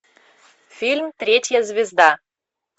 фильм третья звезда